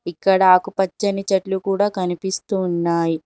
ఇక్కడ ఆకు పచ్చని చెట్లు కూడా కనిపిస్తున్నాయి.